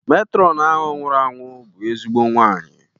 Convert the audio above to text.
Metrọnu ahụ nwụrụ anwụ bụrụ ezigbo nwanyị.